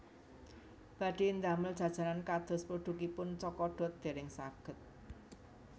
Badhe ndamel jajanan kados produkipun Cokodot dereng saged